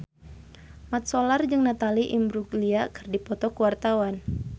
Mat Solar jeung Natalie Imbruglia keur dipoto ku wartawan